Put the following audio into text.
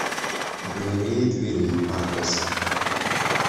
галерея дверей адрес